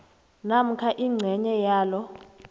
namkha ingcenye yalo